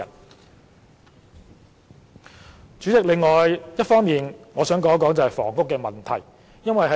代理主席，另一方面，我想就房屋問題發表意見。